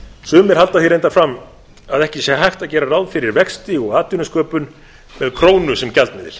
sumir halda því reyndar fram að ekki sé hægt að gera ráð fyrir vexti og atvinnusköpun með krónu sem gjaldmiðil